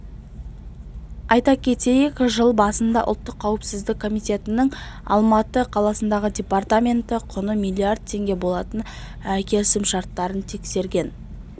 айта кетейік жыл басында ұлттық қауіпсіздік комитетінің алматы қаласындағы департаменті құны миллиард теңге болатын келісімшартын тексерген